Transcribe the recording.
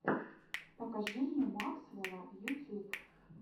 покажи мне максвэлла ютюб